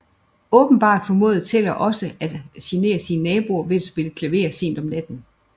Åbenbart formåede Teller også at genere sine naboer ved at spille klaver sent om natten